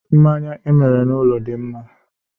Mmanya emere n'ụlọ dị mma